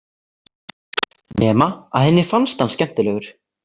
Nema að henni fannst hann skemmtilegur.